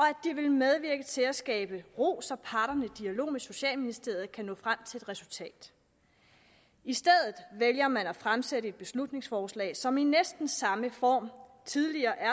det ville medvirke til at skabe ro så parterne i dialog med socialministeriet kan nå frem til et resultat i stedet vælger man at fremsætte et beslutningsforslag som i næsten samme form tidligere er